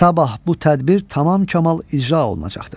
Sabah bu tədbir tamam kamal icra olunacaqdır.